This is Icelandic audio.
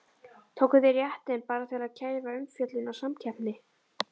Tóku þeir réttinn bara til að kæfa umfjöllun og samkeppni?